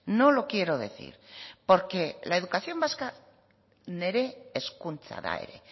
no lo quiero decir porque la educación vasca nire hezkuntza da ere